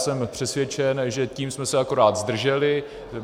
Jsem přesvědčen, že jsme se tím akorát zdrželi.